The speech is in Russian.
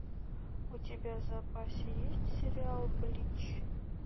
у тебя в запасе есть сериал блич